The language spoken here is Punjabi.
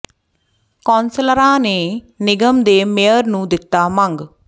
ਕੌ ਾਸਲਰਾਂ ਨੇ ਨਿਗਮ ਦੇ ਮੇਅਰ ਨੂੰ ਦਿੱਤਾ ਮੰਗ